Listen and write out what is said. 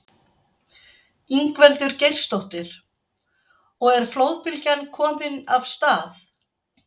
Ingveldur Geirsdóttir: Og er flóðbylgjan komin af stað?